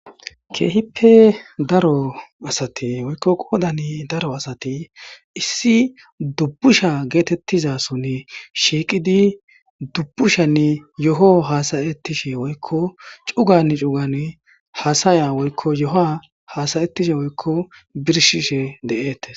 Keehippe daro asati woykko qoodan daro asati issi dubbusha geetettizason shiiqidi dubbushanne yo'o hasayettishe woykko cugann cugan haasaya woykko yo'ahaasayettishe woykko birshishe de'etes